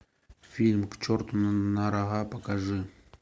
фильм к черту на рога покажи